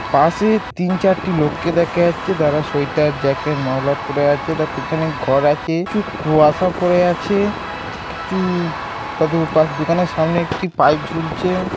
পাশে তিন চারটি লোককে দেখা যাচ্ছে | তাঁরা সোয়েটার জ্যাকেট মাফলাট পড়ে আছে | তার পিছনে ঘর আছে | প্রচুর কুয়াশা পড়ে আছে | কিছু তাদের উপাস দোকানের সামনে একটি পাইপ ঝুলছে।